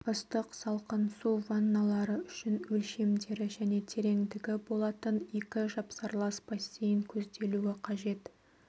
ыстық-салқын су ванналары үшін өлшемдері және тереңдігі болатын екі жапсарлас бассейн көзделуі қажет